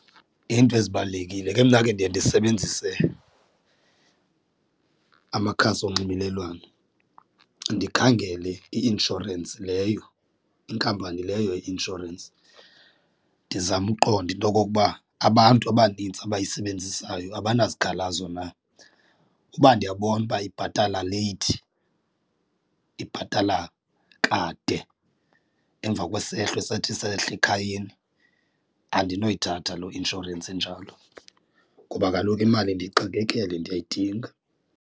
Iinto ezibalulekile ke mna ke ndiye ndisebenzise amakhasi onxibelelwano, ndikhangele i-inshorensi leyo inkampani leyo ye-insurance ndizame ukuqonda into okokuba abantu abanintsi abayisebenzisayo abanazikhalazo na. Uba ndiyabona uba ibhatala leyithi ibhatala kade emva kwesehlo esathi sehla ekhayeni andinoyithatha loo inshorensi injalo, ngoba kaloku imali ndiyixakekele ndiyayidinga.